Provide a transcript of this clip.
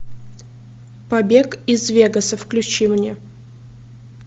побег из вегаса включи мне